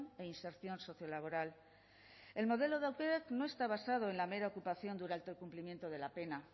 e inserción sociolaboral el modelo de aukerak no está basado en la mera ocupación de un alto el cumplimiento de la pena